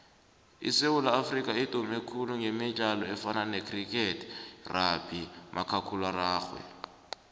isewula afrika idume khulu gemidlalo efana necriketrugbymakhakulararhwe